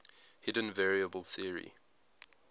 hidden variable theory